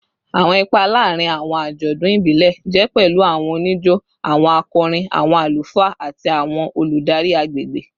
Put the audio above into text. Awọn ipa laarin awọn ajọdun ibile jẹ pẹlu awọn onijo, awọn akọrin, awọn alufaa, ati awọn oludari agbegbe